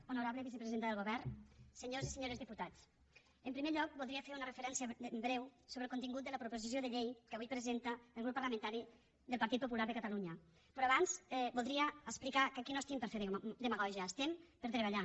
honorable vicepresidenta del govern senyors i senyores diputats en primer lloc voldria fer una referència breu sobre el contingut de la proposició de llei que avui presenta el grup parlamentari del partit popular de catalunya però abans voldria explicar que aquí no estem per fer demagògies estem per treballar